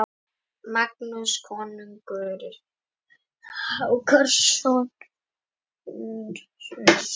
Magnús konungur Hákonarson setti þeim lög sem sniðin voru við hæfi konungsvalds og nýrra tíma.